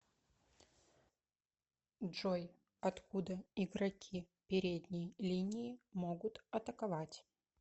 джой откуда игроки передней линии могут атаковать